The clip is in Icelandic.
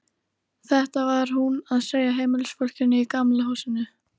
Þetta var hún að segja heimilisfólkinu í Gamla húsinu.